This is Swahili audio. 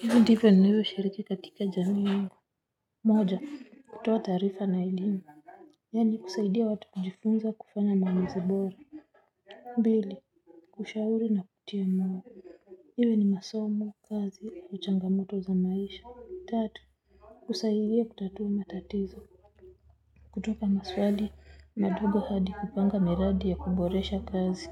Hivi ndivyo ninavyoshiriki katika jamii yangu. Moja kutoa taarifa na elimu. Yani kusaidia watu kujifunza kufanya maumuzi bora pili. Kushauri na kutia moyo. Iwe ni masomo kazi au changamoto za maisha. Tatu. Kusaidia kutatua matatizo. Kutoka maswali madogo hadi kupanga miradi ya kuboresha kazi.